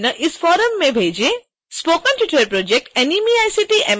कृपया अपने समयबद्ध प्रश्न इस फ़ोरम में भेजें